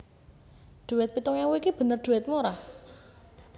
Dhuwit pitung ewu iki bener dhuwitmu ora?